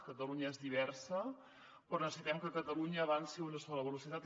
catalunya és diversa però necessitem que catalunya avanci a una sola velocitat